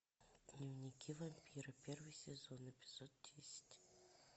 дневники вампира первый сезон эпизод десять